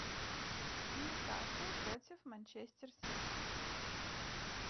ньюкасл против манчестер сити